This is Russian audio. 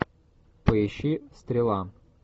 поищи стрела